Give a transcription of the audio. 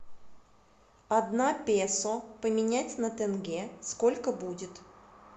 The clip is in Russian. одна песо поменять на тенге сколько будет